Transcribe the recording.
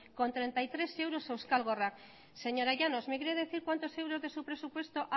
coma treinta y tres euros a euskal gorrak señora llanos me quiere decir cuántos euros de su presupuesto